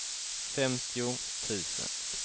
femtio tusen